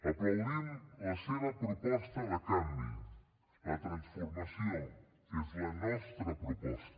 aplaudim la seva proposta de canvi la transformació que és la nostra proposta